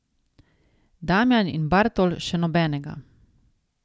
Damjan in Bartol še nobenega.